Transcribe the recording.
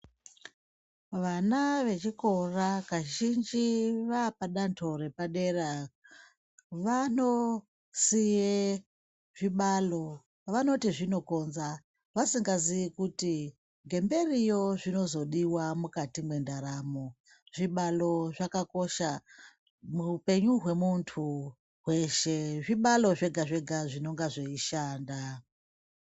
Vana vechikora, kazhinji vapadanzo repadera, vanosiye zvibhalo. Vanoti zvinokonza, vasingazivi kuti ngemberiyo zvinozvodiwa mukati mendaramo. Zvibhalo zvakakosha muwupenyu wemuntu weshe. Zvibhalo zvega zvega zvinongana zveyishanda.